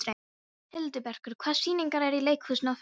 Hildibergur, hvaða sýningar eru í leikhúsinu á föstudaginn?